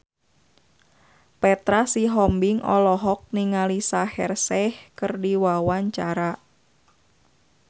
Petra Sihombing olohok ningali Shaheer Sheikh keur diwawancara